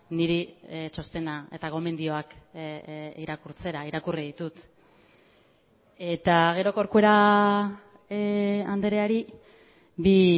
niri txostena eta gomendioak irakurtzera irakurri ditut eta gero corcuera andreari bi